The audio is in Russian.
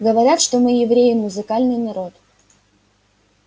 говорят что мы евреи музыкальный народ